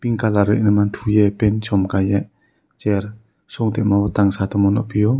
pink kalar ree ma thuie chum kaie chair suntamo tang sato mo nugfio.